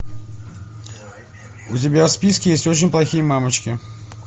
у тебя в списке есть очень плохие мамочки